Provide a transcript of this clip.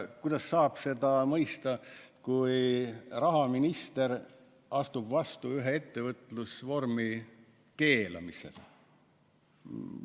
Kuidas saab seda mõista, kui rahaminister astub üles ühe ettevõtlusvormi keelamisega?